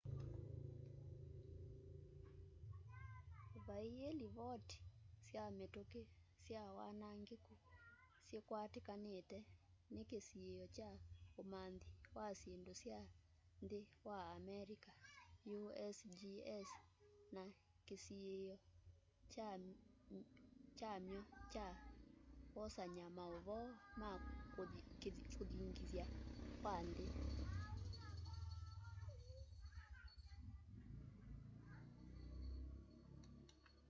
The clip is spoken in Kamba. vaii livoti sya mituki sy wanangiku sikwatikanite ni kisiio kya umanthi wa syindu sya nthi wa amelika usgs na kisiio kyamy'o kya kwosanya mauvoo ma kuthingitha kwa nthi